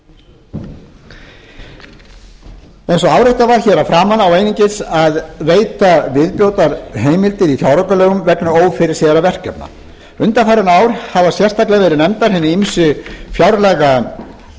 eins og áréttað var hér að framan á einungis að veita viðbótarheimildir í fjáraukalögum vegna ófyrirséðra verkefna undanfarin ár hafa sérstaklega verið nefndir hinir